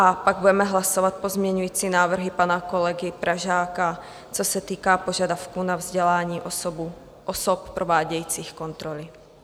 A pak budeme hlasovat pozměňující návrhy pana kolegy Pražáka, co se týká požadavků na vzdělání osob provádějících kontroly.